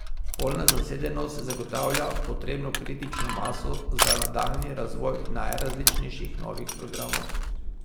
Polna zasedenost zagotavlja potrebno kritično maso za nadaljnji razvoj najrazličnejših novih programov.